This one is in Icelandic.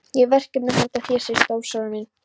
Ég hef verkefni handa þér segir Stórfurstinn.